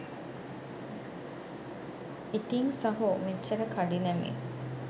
ඉතිං සහෝ මෙච්චර කඩිනමින්